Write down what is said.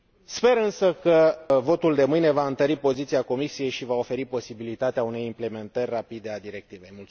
Sper, însă, că votul de mâine va întări poziția Comisiei și va oferi posibilitatea unei implementări rapide a directivei.